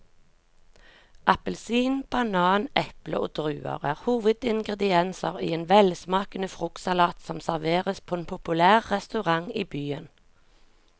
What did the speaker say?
Appelsin, banan, eple og druer er hovedingredienser i en velsmakende fruktsalat som serveres på en populær restaurant i byen.